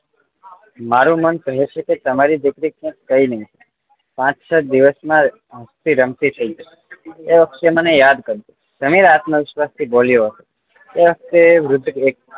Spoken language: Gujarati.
મારુ મન કહે છે કે તમારી દીકરી ને કાંઈ નહિ થાય પાંચ છ દિવસ માં હસતી રમતી થાય જશે એ વખતે મને યાદ કરજો સમીર આત્મ વિશ્વાસ થી બોલ્યો એ વખતે વૃદ્ધ